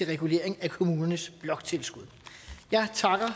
regulering af kommunernes bloktilskud jeg takker